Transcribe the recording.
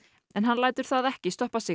en hann lætur það ekki stoppa sig